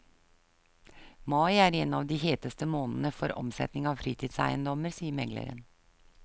Mai er en av de heteste månedene for omsetning av fritidseiendommer, sier megleren.